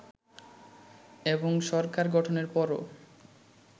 এবং সরকার গঠনের পরও